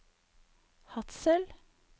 Hadsel